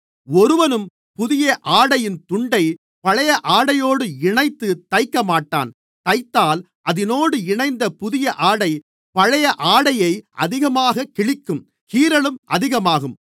ஒருவனும் புதிய ஆடையின் துண்டைப் பழைய ஆடையோடு இணைத்து தைக்கமாட்டான் தைத்தால் அதினோடு இணைத்த புதிய ஆடை பழைய ஆடையை அதிகமாகக் கிழிக்கும் கீறலும் அதிகமாகும்